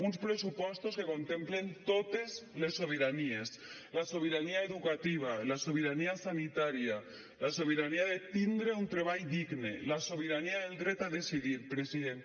uns pressupostos que contemplen totes les sobiranies la sobirania educativa la sobirania sanitària la sobirania de tindre un treball digne la sobirania del dret a decidir president